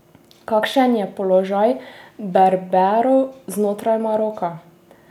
Kakšen je položaj Berberov znotraj Maroka?